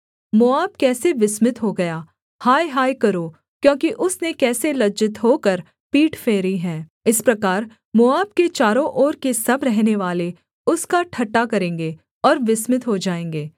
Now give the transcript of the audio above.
मोआब कैसे विस्मित हो गया हाय हाय करो क्योंकि उसने कैसे लज्जित होकर पीठ फेरी है इस प्रकार मोआब के चारों ओर के सब रहनेवाले उसका ठट्ठा करेंगे और विस्मित हो जाएँगे